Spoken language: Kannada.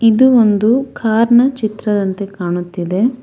ಇದು ಒಂದು ಕಾರ್ನ ಚಿತ್ರದಂತೆ ಕಾಣುತ್ತಿದೆ.